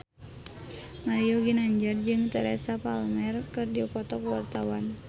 Mario Ginanjar jeung Teresa Palmer keur dipoto ku wartawan